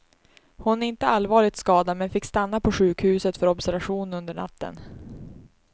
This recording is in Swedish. Hon är inte allvarligt skadad men fick stanna på sjukhuset för observation under natten.